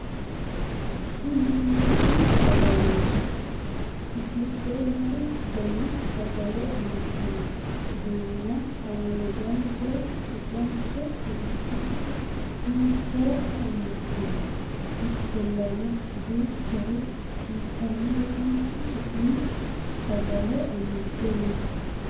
tini intanni sagaleeti . giddo me''u dani sagale amaddino duumo haanjanso bicanso kolishshonso hiittooha amaddino ? ikkollan aduuchare intannire mittu su'mi sagale amadde no